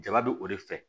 Jaba bɛ o de fɛ